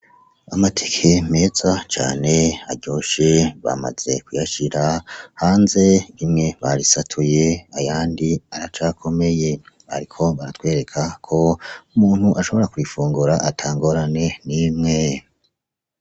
Amatike meza cane aryoshe bamaze kuyashira hanze bimwe barisatuye ayandi aracakomeye, ariko baratwereka ko umuntu ashobora kuyifungura atangorane n'imwe.